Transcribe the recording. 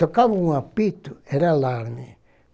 Tocava um apito, era alarme.